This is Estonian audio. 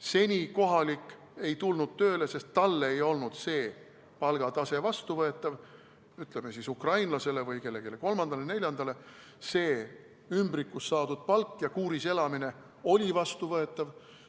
Seni kohalik ei tulnud tööle, sest talle ei olnud see palgatase vastuvõetav, ukrainlasele või kellelegi kolmandale-neljandale see ümbrikus saadud palk ja kuuris elamine oli vastuvõetav.